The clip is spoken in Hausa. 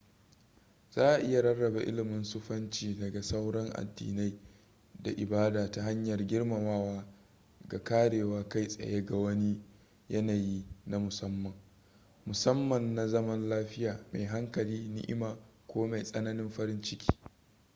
za a iya rarrabe ilimin sufanci daga sauran addinai da ibada ta hanyar girmamawa ga kwarewar kai tsaye na wani yanayi na musamman musamman na zaman lafiya mai hankali ni'ima ko ma mai tsananin farin ciki